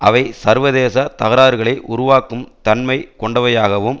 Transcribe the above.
அவை சர்வதேச தகராறுகளை உருவாக்கும் தன்மை கொண்டவையாகவும்